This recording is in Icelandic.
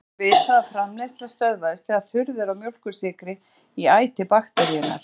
Nú var vitað að framleiðsla stöðvast þegar þurrð er á mjólkursykri í æti bakteríunnar.